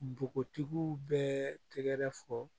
Npogotigiw bɛɛ tɛgɛrɛ fɔ